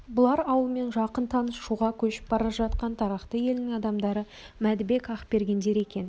бұлар ауылмен жақын таныс шуға көшіп бара жатқан тарақты елінің адамдары мәдібек ақбергендер екен